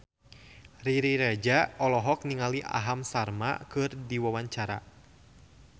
Riri Reza olohok ningali Aham Sharma keur diwawancara